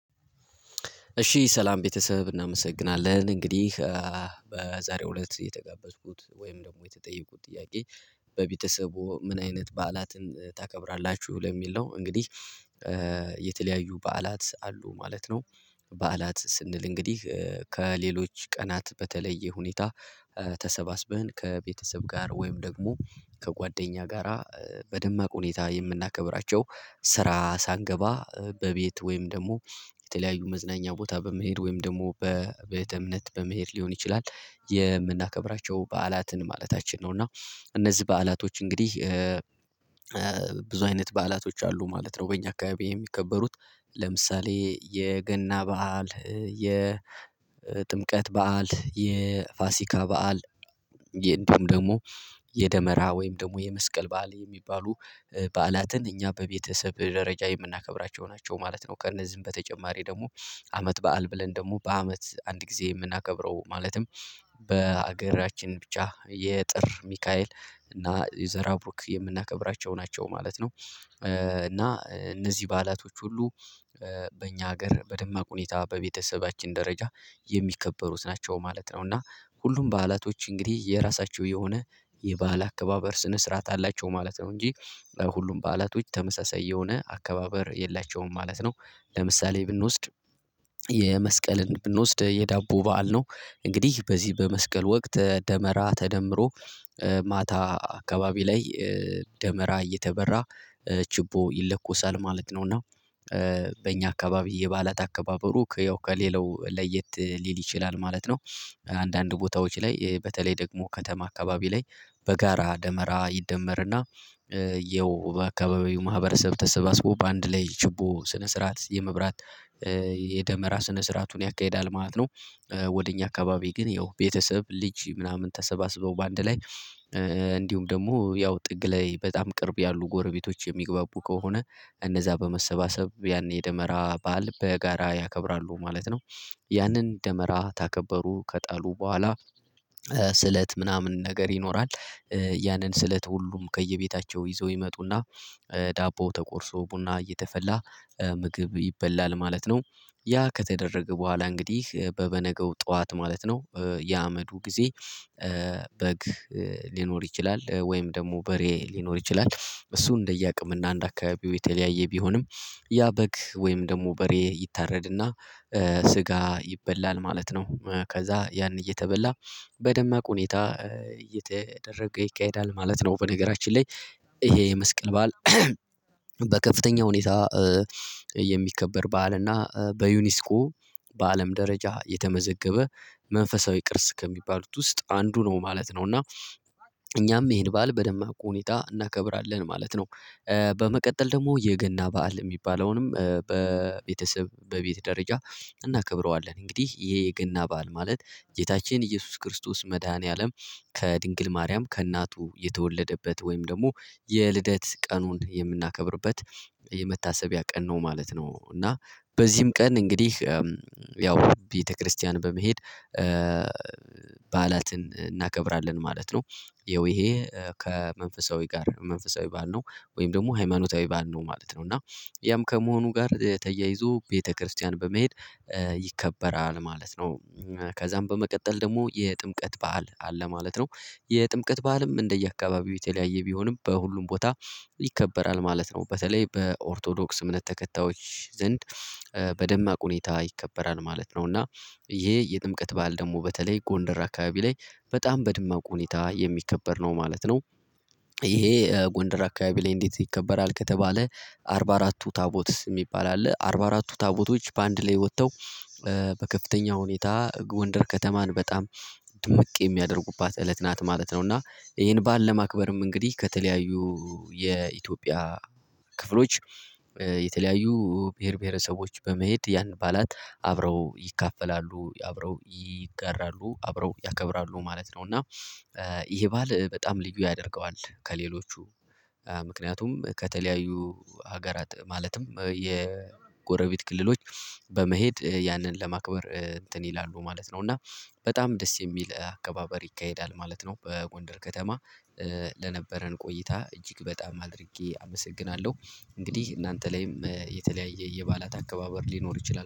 እሺ ሰላም ቤተሰብ እናመሰግናለን እንግዲህ በዛሬው እለት እየተጋበዝኩት ወይም ደግሞ የተጠየቁት ጥያቄ በቤተሰቡ ምን አይነት በዓላትን ታከብራላችሁ ለሚል ነው? እንግዲህ የተለያዩ በዓላት አሉ ማለት ነው። በዓላት ስንል እንግዲህ ከሌሎች ቀናት በተለየ ሁኔታ ተሰባስበን ከቤተሰብ ጋር ወይም ደግሞ ከጓደኛ ጋራ በደማቅ ሁኔታ የምናከብራቸው ስራ ሳንገባ በቤት ወይም ደግሞ የተለያዩ መዝናኛ ቦታ በመሄድ ወይም ደግሞ በቤተ እምነት በመሄድ ሊሆን ይችላል። የምናከብራቸው በዓላትን ማለታችን ነው። እና እነዚህ በዓላቶች እንግዲህ ብዙ አይነት በዓላቶች አሉ ማለት ነው። በእኛ አካባቢ የሚከበሩት ለምሳሌ የገና በዓል የጥምቀት በዓል የፋሲካ በዓል ደግሞ የደመራ ወይም ደግሞ የመስቀል በዓል የሚባሉ በዓላትን እኛ በቤተሰብ ደረጃ የምናከብራቸው ናቸው ማለት ነው። ከእነዚህም በተጨማሪ ደግሞ አመት በዓል ብለን ደግሞ በአመት አንድ ጊዜ የምናከብረው ማለትም በሀገራችን ብቻ የጥር ሚካኤል እና የዘራቡክ የምናከብራቸው ናቸው ማለት ነው። እና እነዚህ በዓላቶች ሁሉ በእኛ ሀገር በደማቅ ሁኔታ በቤተሰባችን ደረጃ የሚከበሩት ናቸው ማለት ነው። እና ሁሉም በዓላቶች እንግዲህ የራሳቸው የሆነ የባህል አከባበር ስነ ስርዓት አላቸው ማለት ነው እንጂ ሁሉም በዓላቶች ተመሳሳይ የሆነ አከባበር የላቸውም ማለት ነው። ለምሳሌ ብንወስድ የመስቀልን ብንወስድ የዳቦ በዓል ነው። እንግዲህ በዚህ በመስቀል ወቅት ደመራ ተደምሮ ማታ አካባቢ ላይ ደመራ እየተበራ ችቦ ይለኰሳል ማለት ነው። እና በእኛ አካባቢ የበዓላት አከባበሩ ከያው ከሌላው ለየት ሊል ይችላል ማለት ነው። አንዳንድ ቦታዎች ላይ በተለይ ደግሞ ከተማ አካባቢ ላይ በጋራ ደመራ ይደመርና ይኸው በአካባቢው ማህበረሰብ ተሰባስቦ በአንድ ላይ ችቦ ስነ ስርዓት የመብራት የደመራ ስነ ስርዓቱን ያካሂዳል ማለት ነው። ወደ እኛ አካባቢ ግን ያው ቤተሰብ ልጅ ምናምን ተሰባስበው በአንድ ላይ እንዲሁም ደግሞ ያው ጥግ ላይ በጣም ቅርብ ያሉ ጎረቤቶች የሚግባቡ ከሆነ እነዛ በመሰባሰብ ያን የደመራ በዓል በጋራ ያከብራሉ ማለት ነው። ያንን ደመራ ታከበሩ ከጣሉ በኋላ ስለት ምናምን ነገር ይኖራል ያንን ስለት ሁሉም ከየቤታቸው ይዘው ይመጡና ዳቦ ተቆርሶ ቡና እየተፈላ ምግብ ይበላል ማለት ነው። ያ ከተደረገ በኋላ እንግዲህ በበነገው ጠዋት ማለት ነው የአመዱ ጊዜ በግ ሊኖር ይችላል ወይም ደግሞ በሬ ሊኖር ይችላል እሱን እንደየአቅም እና አንድ አካባቢው የተለያየ ቢሆንም ያ በግ ወይም ደግሞ በሬ ይታረድና ስጋ ይበላል ማለት ነው። ከዛ ያን እየተበላ በደማቅ ሁኔታ እየተደረገ ይካሄዳል ማለት ነው። በነገራችን ላይ ይሄ የመስቀል ባል በከፍተኛ ሁኔታ የሚከበር ባል እና በዩኒስኮ በአለም ደረጃ የተመዘገበ መንፈሳዊ ቅርስ ከሚባሉት ውስጥ አንዱ ነው ማለት ነው። እና እኛም ይሄን በዓል በደማቅ ሁኔታ እናከብራለን ማለት ነው። በመቀጠል ደግሞ የገና በዓል የሚባለውንም በቤተሰብ በቤት ደረጃ እናከብረዋለን እንግዲህ ይሄ የገና በዓል ማለት ጌታችን ኢየሱስ ክርስቶስ መድኃኒዓለም ከድንግል ማርያም ከእናቱ የተወለደበት ወይም ደግሞ የልደት ቀኑን የምናከብርበት የመታሰቢያ ቀን ነው ማለት ነው። እና በዚህም ቀን እንግዲህ ያው ቤተክርስቲያን በመሄድ በዓላትን እናከብራለን ማለት ነው። ይሄ ከመንፈሳዊ ጋር መንፈሳዊ ባል ነው ወይም ደግሞ ሃይማኖታዊ ባል ነው ማለት ነው። እና ያም ከመሆኑ ጋር ተያይዞ ቤተክርስቲያን በመሄድ ይከበራል ማለት ነው። ከዛም በመቀጠል ደግሞ የጥምቀት በዓል አለ ማለት ነው። የጥምቀት በዓልም እንደየአካባቢው የተለያየ ቢሆንም በሁሉም ቦታ ይከበራል ማለት ነው። በተለይ በኦርቶዶክስ እምነት ተከታዮች ዘንድ በደማቅ ሁኔታ ይከበራል ማለት ነው። እና ይሄ የጥምቀት ባል ደግሞ በተለይ ጎንደር አካባቢ ላይ በጣም በድማቁ ሁኔታ የሚከበር ነው ማለት ነው። ይሄ ጎንደር አካባቢ ላይ እንዴት ይከበራል ከተባለ አርባ አራ ቱ ታቦት የሚባል አለ አርባ አራቱ ታቦቶች በአንድ ላይ ወጥተው በከፍተኛ ሁኔታ ጎንደር ከተማን በጣም ድምቅ የሚያደርጉባት እለት ናት ማለት ነው። እና ይሄን ባል ለማክበርም እንግዲህ ከተለያዩ የኢትዮጵያ ክፍሎች የተለያዩ ብሄር ብሄረሰቦች በመሄድ ያን ባላት አብረው ይካፈላሉ አብረው ይጋራሉ አብረው ያከብራሉ ማለት ነው። እና ይሄ ባል በጣም ልዩ ያደርገዋል ከሌሎቹ ምክንያቱም ከተለያዩ ሀገራት ማለትም የጎረቤት ክልሎች በመሄድ ያንን ለማክበር እንትን ይላሉ ማለት ነው። እና በጣም ደስ የሚል አከባበር ይካሄዳል ማለት ነው። በጎንደር ከተማ ለነበረን ቆይታ እጅግ በጣም አድርጌ አመሰግናለሁ። እንግዲህ እናንተ ላይም የተለያየ የባላት አከባበር ሊኖር ይችላል